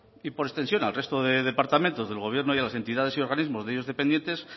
y por extensión al resto de departamentos del gobierno y de entidades y organismos de ellos dependientes